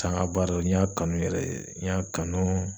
tanga baara n y'a kanu yɛrɛ de n y'a kanu